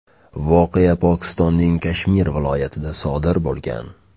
Voqea Pokistonning Kashmir viloyatida sodir bo‘lgan.